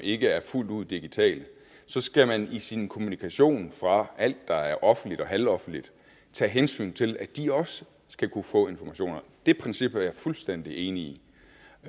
ikke er fuldt ud digitale så skal man i sin kommunikation fra alt der er offentligt og halvoffentligt tage hensyn til at de også skal kunne få informationerne det princip er jeg fuldstændig enig